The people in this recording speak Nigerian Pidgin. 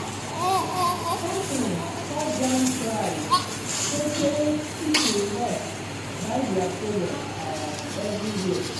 company cut down price sotey people rush buy their product um everywhere.